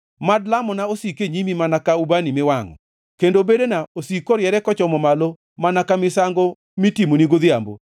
Mad lamona osiki e nyimi mana ka ubani miwangʼo, kendo bedena osik koriere kochomo malo mana ka misango mitimoni godhiambo.